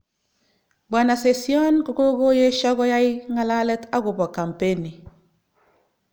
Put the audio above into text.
Bwana Session kokokoyesho koyai nga'lalet okobo kampeni